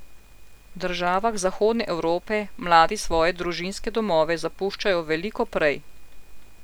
V državah zahodne Evrope mladi svoje družinske domove zapuščajo veliko prej.